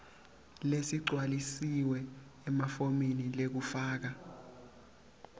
lesigcwalisiwe efomini lekufaka